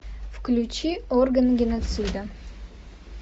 включи органы геноцида